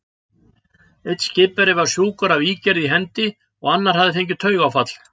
Einn skipverja var sjúkur af ígerð í hendi, og annar hafði fengið taugaáfall.